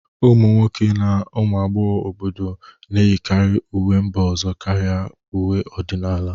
Ụmụ nwoke na ụmụ agbọghọ obodo na-eyikarị uwe mba ọzọ karịa uwe ọdịnala